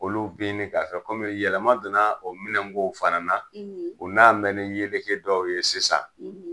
Olu be ɲini ka fɛn kɔmi yɛlɛma donna o minɛnkow fana u nan bɛ ni yeleke dɔw ye sisan